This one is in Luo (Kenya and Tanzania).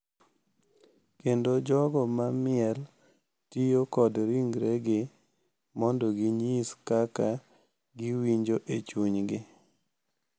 kendo jogo ma miel tiyo kod ringregi mondo ginyis kaka giwinjo e chunygi, .